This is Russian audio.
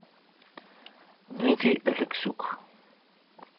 дмитрий алексюк